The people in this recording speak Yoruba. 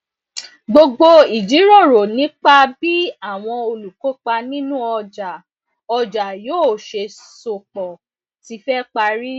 gbogbo ìjíròrò nípa bí àwọn olùkópa nínú ọjà ọjà yóò ṣe so pọ ti fẹ parí